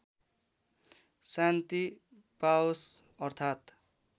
शान्ति पाओस् अर्थात्